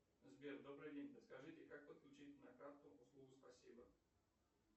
сбер добрый день подскажите как подключить на карту услугу спасибо